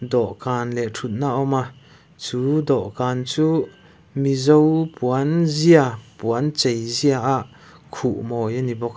dawhkhan leh thutna awm a chu dawhkan chuh mizo puan zia puan chei zia ah khuh mawi a ni bawk a.